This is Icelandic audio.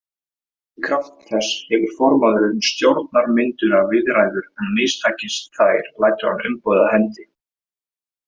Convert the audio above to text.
Í krafti þess hefur formaðurinn stjórnarmyndunarviðræður en mistakist þær lætur hann umboðið af hendi.